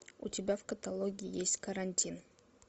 у тебя в каталоге есть карантин